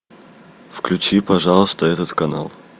включи пожалуйста этот канал